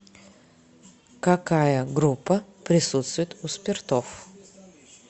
какая группа присутствует у спиртов